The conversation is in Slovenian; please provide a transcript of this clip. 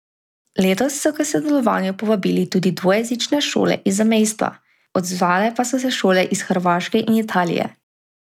Letos so k sodelovanju povabili tudi dvojezične šole iz zamejstva, odzvale pa so se šole iz Hrvaške in Italije.